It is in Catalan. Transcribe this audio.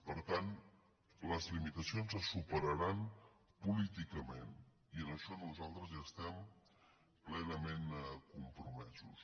per tant les limitacions es su·peraran políticament i en això nosaltres estem plena·ment compromesos